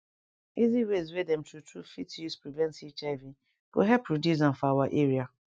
easy ways wey dem true true fit use prevent hiv go help reduce am for our area